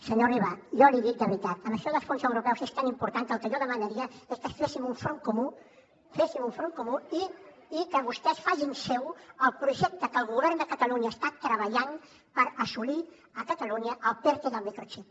senyor riba jo l’hi dic de veritat això dels fons europeus és tan important que el que jo demanaria és que féssim un front comú féssim un front comú i que vostès facin seu el projecte que el govern de catalunya està treballant per assolir a catalunya el perte del microxip